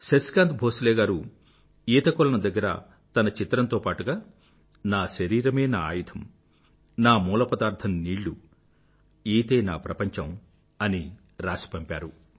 శశికాంత్ భోంస్లే గారు ఈతకొలను దగ్గర తన చిత్రంతో పాటుగా నా శరీరమే నా ఆయుధం నా మూలపదార్థం నీళ్ళు ఈతే నా ప్రపంచం అని రాసి పంపారు